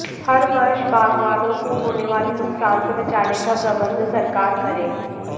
हर वर्ष बागबानों को होने वाले नुकसान से बचाने का प्रबंध सरकार करे